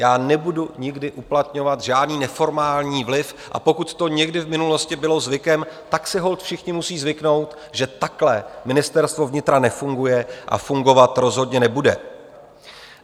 Já nebudu nikdy uplatňovat žádný neformální vliv, a pokud to někdy v minulosti bylo zvykem, tak si holt všichni musí zvyknout, že takhle Ministerstvo vnitra nefunguje a fungovat rozhodně nebude.